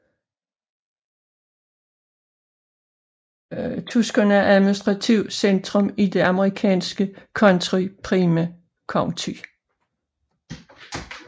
Tucson er administrativt centrum i det amerikanske county Pima County